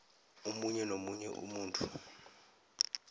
omunye nomunye umuntu